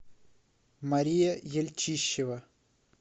мария ельчищева